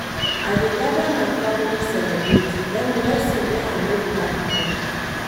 I dey gada my family celebrate wen blessing wey I no plan come.